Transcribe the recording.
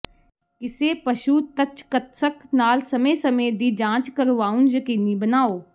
ਕਿਸੇ ਪਸ਼ੂ ਤਚਕੱਤਸਕ ਨਾਲ ਸਮੇਂ ਸਮੇਂ ਦੀ ਜਾਂਚ ਕਰਵਾਉਣ ਯਕੀਨੀ ਬਣਾਓ